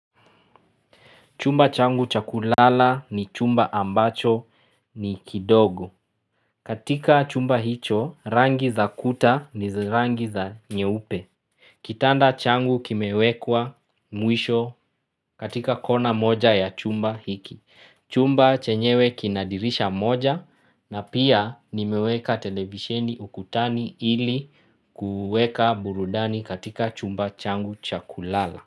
Chumba changu chakulala ni chumba ambacho ni kidogo. Katika chumba hicho rangi za kuta ni zirangi za nyeupe. Kitanda changu kimewekwa mwisho katika kona moja ya chumba hiki. Chumba chenyewe kinadirisha moja na pia nimeweka telebisheni ukutani ili kuweka burudani katika chumba changu cha kulala.